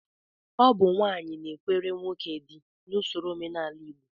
Ọ bụ nwaanyị na-ekwere nwoke dị n'usoro omenala Igbo